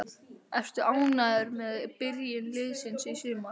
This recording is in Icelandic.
Ertu ánægður með byrjun liðsins í sumar?